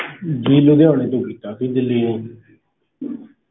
ਜੀ ਲੁਧਿਆਣੇ ਤੋਂ ਕੀਤਾ ਸੀ ਦਿੱਲੀ ਨੂੰ